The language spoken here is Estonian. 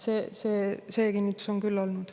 See kinnitus on küll olnud.